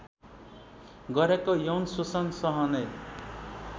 गरेको यौन शोषण सहने